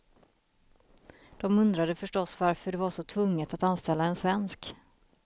De undrade förstås varför det var så tvunget att anställa en svensk.